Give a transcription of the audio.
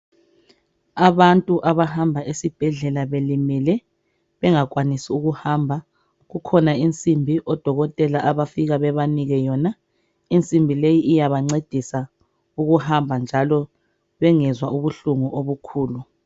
Abantu abahamba esibhedlela belimele bengakwanisi ukuhamba , kukhona insimbi odokotela abafika bebanike yona , insimbi leyi iyabancedisa ukuhamba njalo bengezwa ubuhlungu obukhulu